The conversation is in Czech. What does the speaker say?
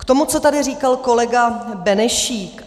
K tomu, co tady říkal kolega Benešík.